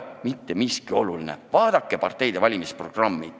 Vaadake parteide valimisprogramme!